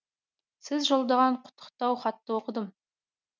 сіз жолдаған құттықтау хатты оқыдым